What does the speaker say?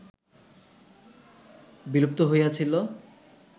বিলুপ্ত হইয়াছিল